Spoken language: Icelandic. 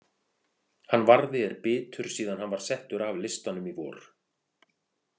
Hann Varði er bitur síðan hann var settur af listanum í vor.